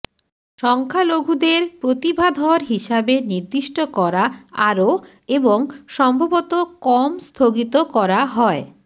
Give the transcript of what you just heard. সংখ্যালঘুদের প্রতিভাধর হিসাবে নির্দিষ্ট করা আরো এবং সম্ভবত কম স্থগিত করা হয়